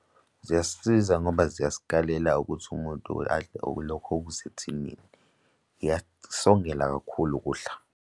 Ziyasisiza ngoba ziyasikalela ukuthi umuntu adle okulokho okusethinini. Ziyasongela kakhulu ukudla.